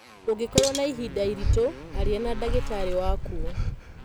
ũngĩkorũo na ihinda iritũ, aria na ndagĩtarĩ waku.